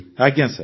ଆଜ୍ଞା ସାର୍